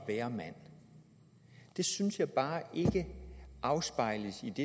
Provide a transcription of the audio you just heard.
være mand det synes jeg bare ikke afspejles i det